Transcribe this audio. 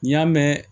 N'i y'a mɛn